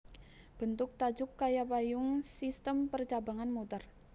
Bentuk tajuk kaya payung sistem percabangan muter